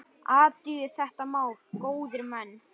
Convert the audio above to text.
Athugið þetta mál, góðir menn!